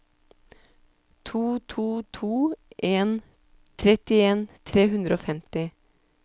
to to to en trettien tre hundre og femti